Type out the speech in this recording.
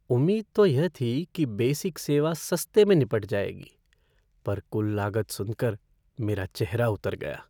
उम्मीद तो यह थी कि बेसिक सेवा सस्ते में निपट जाएगी पर कुल लागत सुनकर मेरा चेहरा उतर गया।